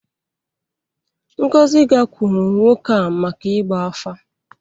Ngozi gakwuuru nwoke a maka ịgba afa.